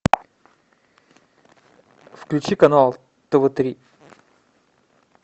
включи канал тв три